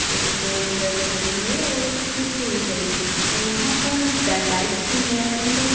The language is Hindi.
एक फोर व्हीलर खड़ी है और एक जिप्सी भी खड़ी है। अ यहाँ पर बाइक्स भी हैं एंड --